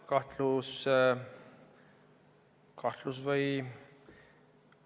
Kahtluse alla?